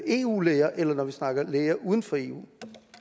eu læger eller når vi snakker om læger uden for eu